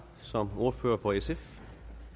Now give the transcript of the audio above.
som ordfører for sf